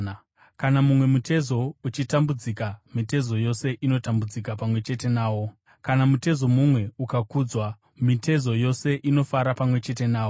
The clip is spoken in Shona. Kana mumwe mutezo uchitambudzika, mitezo yose inotambudzika pamwe chete nawo; kana mutezo mumwe ukakudzwa, mitezo yose inofara pamwe chete nawo.